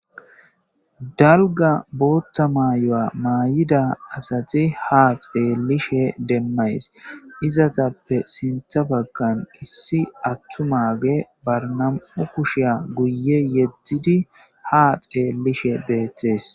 dalga bootta maayuwa maayida asati ha xeelishe demmays izatappe sintha baggan issi attumaage bar nam'u kushiya guye yeddidi ha xeellishe beettees